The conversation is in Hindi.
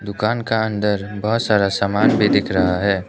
दुकान का अंदर बहुत सारा सामान भी दिख रहा है।